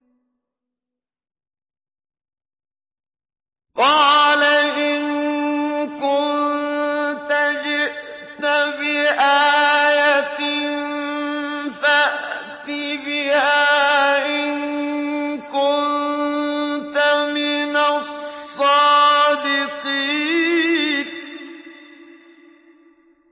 قَالَ إِن كُنتَ جِئْتَ بِآيَةٍ فَأْتِ بِهَا إِن كُنتَ مِنَ الصَّادِقِينَ